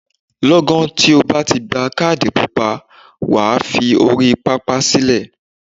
Lọ́gán tí o bá ti gba kádì pupa, wà á fi orí pápá sílẹ̀.